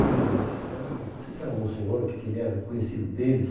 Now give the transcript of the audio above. Padre, era era não sei se era monsenhor ou o que que ele era, conhecido deles.